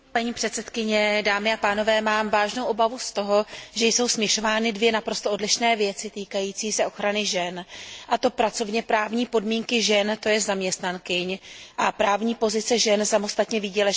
Mám vážnou obavu z toho, že jsou směšovány dvě naprosto odlišné věci týkající se ochrany žen, a to pracovněprávní podmínky žen zaměstnankyň a právní pozice žen samostatně výdělečně činných, tj.